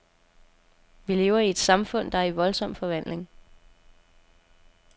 Vi lever i et samfund, der er i voldsom forvandling.